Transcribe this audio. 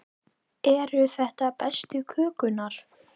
Eru þetta bestu kökurnar?